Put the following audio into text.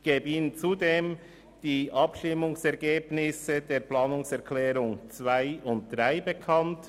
Ich gebe Ihnen zudem die Abstimmungsresultate betreffend die Planungserklärungen 2 und 3 bekannt.